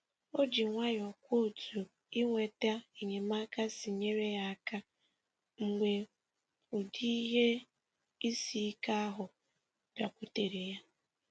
O ji nwayọọ kwuo otu inweta enyemaka si nyere ya aka mgbe ụdị ihe isi ike ahụ bịakwutere ya.